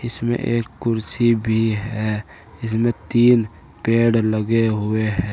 इसमें एक कुर्सी भी है इसमे तीन पेड़ लगे हुए है।